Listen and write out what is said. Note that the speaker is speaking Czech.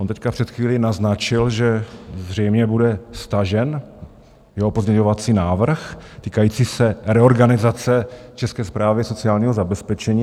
On teď před chvílí naznačil, že zřejmě bude stažen jeho pozměňovací návrh týkající se reorganizace České správy sociálního zabezpečení.